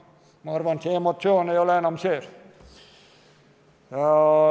Ma arvan, et emotsioon ei olnud siis enam see.